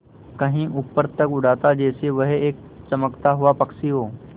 कहीं ऊपर तक उड़ाता जैसे वह एक चमकता हुआ पक्षी हो